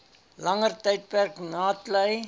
langer tydperk natlei